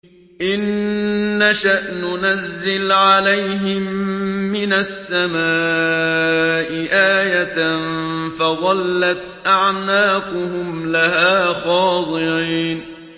إِن نَّشَأْ نُنَزِّلْ عَلَيْهِم مِّنَ السَّمَاءِ آيَةً فَظَلَّتْ أَعْنَاقُهُمْ لَهَا خَاضِعِينَ